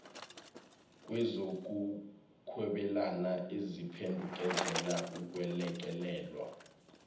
kwezokuhwebelana eziphendukezela ukwelekelelwa